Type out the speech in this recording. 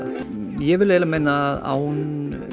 ég vil meina að án